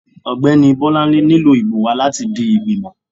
ọgbẹni Bolanle nílò ibò wa latí di ìgbímò